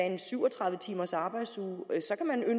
en syv og tredive timers arbejdsuge